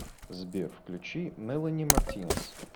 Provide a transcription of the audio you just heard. сбер включи мэлани мартинес